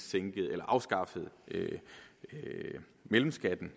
afskaffede mellemskatten